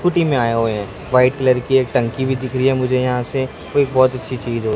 scooty में आए हुए है व्हाइट कलर की एक टंकी भी दिख रही है मुझे यहां से वो एक बहोत अच्छी चीज हो--